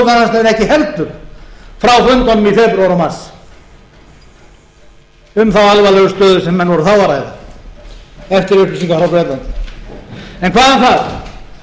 í febrúar og mars um þá alvarlegu stöðu sem menn voru þá að ræða eftir upplýsingar frá bretlandi en hvað um það